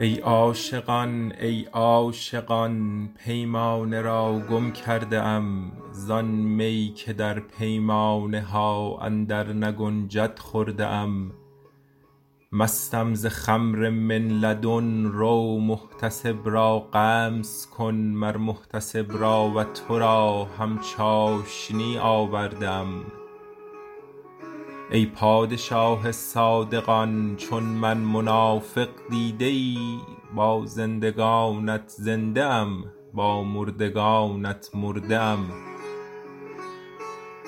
ای عاشقان ای عاشقان پیمانه را گم کرده ام زان می که در پیمانه ها اندرنگنجد خورده ام مستم ز خمر من لدن رو محتسب را غمز کن مر محتسب را و تو را هم چاشنی آورده ام ای پادشاه صادقان چون من منافق دیده ای با زندگانت زنده ام با مردگانت مرده ام